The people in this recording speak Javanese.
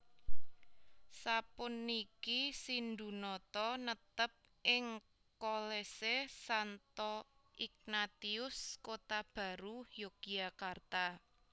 Sapuniki Sindhunata netep ing Kolese Santo Ignatius Kotabaru Yogyakarta